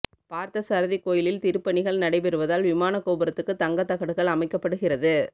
பார்த்தசாரதி கோயிலில் திருப்பணிகள் நடைபெறுவதால் விமான கோபுரத்துக்கு தங்க தகடுகள் அமைக்கப்படுகிறது